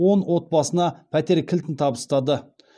он отбасына пәтер кілтін табыстады